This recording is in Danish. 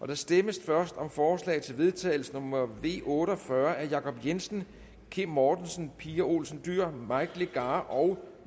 der stemmes først om forslag til vedtagelse nummer v otte og fyrre af jacob jensen kim mortensen pia olsen dyhr mike legarth og